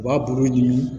U b'a bulu ɲini